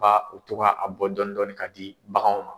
ba u toga a bɔ dɔni dɔni ka di baganw ma.